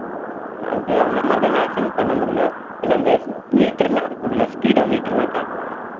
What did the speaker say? அது அந்த மாதிரிதான் maximum பண்ண முடியும் இல்லை அந்த meter எல்லாம் இருக்கும் இல்லே speedometer எல்லாம் காட்டும் இல்ல